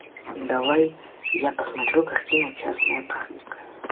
давай я посмотрю картину частная практика